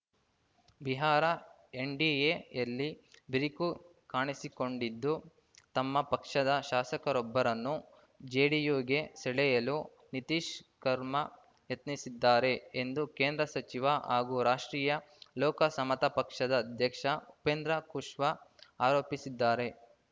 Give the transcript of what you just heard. ಬಿಹಾರ ಎನ್‌ಡಿಎಯಲ್ಲಿ ಬಿರುಕು ಕಾಣಿಸಿಕೊಂಡಿದ್ದು ತಮ್ಮ ಪಕ್ಷದ ಶಾಸಕರೊಬ್ಬರನ್ನು ಜೆಡಿಯುಗೆ ಸೆಳೆಯಲು ನಿತೀಶ್‌ ಕರ್ಮಾ ಯತ್ನಿಸಿದ್ದಾರೆ ಎಂದು ಕೇಂದ್ರ ಸಚಿವ ಹಾಗೂ ರಾಷ್ಟ್ರೀಯ ಲೋಕ ಸಮತಾ ಪಕ್ಷದ ಅಧ್ಯಕ್ಷ ಉಪೇಂದ್ರ ಖುಷ್ವಾ ಆರೋಪಿಸಿದ್ದಾರೆ